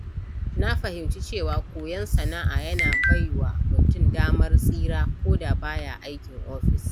Na fahimci cewa koyon sana'a yana bai wa mutum damar tsira koda ba ya yin aikin ofis.